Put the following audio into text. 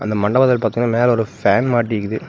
அந்த மண்டபத்துல பாத்தீங்கன்னா மேல ஒரு ஃபேன் மாட்டிக்குது.